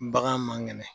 Bagan man kɛnɛ